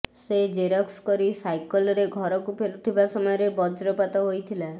ସେ ଜେରକ୍ସ କରି ସାଇକେଲରେ ଘରକୁ ଫେରୁଥିବା ସମୟରେ ବଜ୍ରପାତ ହୋଇଥିଲା